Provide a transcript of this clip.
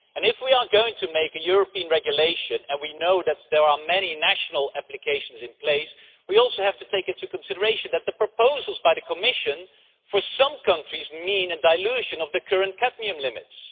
If we are going to make a European regulation and we know that there are many national applications in place we have to take into consideration that the proposals by the Commission entail, for some countries, a dilution of the current cadmium limits.